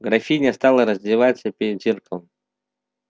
графиня стала раздеваться перед зеркалом